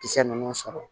Kisɛ ninnu sɔrɔ